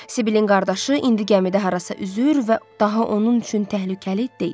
Sibylin qardaşı indi gəmidə harasa üzür və daha onun üçün təhlükəli deyil.